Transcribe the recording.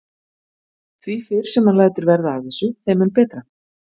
Því fyrr sem hann lætur verða af þessu þeim mun betra.